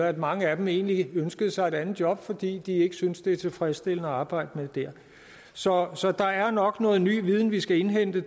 at mange af dem egentlig ønsker sig et andet job fordi de ikke synes det er tilfredsstillende at arbejde der så så der er nok noget ny viden vi skal indhente